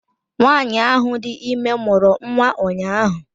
Nwanyị ahụ dị ime mụrụ nwa ụnyahụ